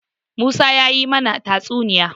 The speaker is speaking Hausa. Musa ya yi mana tatsuniya.